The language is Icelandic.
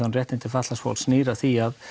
um réttindi fatlaðs fólks snýr að því